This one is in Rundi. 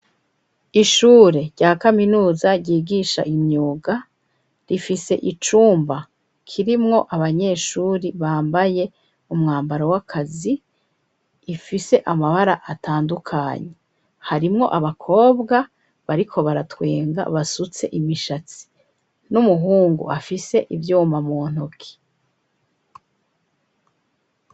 Ishure rya kaminuza ryigisha imyuga, rifise icumba kirimwo abanyeshuri bambaye umwambaro w'akazi ifise amabara atandukanye, harimwo abakobwa bariko baratwenga basutse imishatsi ,n'umuhungu afise ivyuma muntoki.